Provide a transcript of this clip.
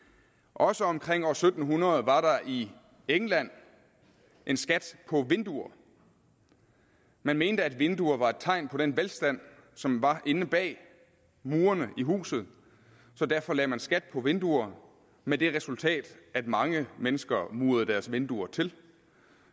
også omkring år syv hundrede var der i england en skat på vinduer man mente at vinduer var et tegn på den velstand som var inde bag murene i huset så derfor lagde man skat på vinduer med det resultat at mange mennesker murede deres vinduer til